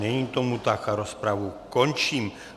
Není tomu tak, tak rozpravu končím.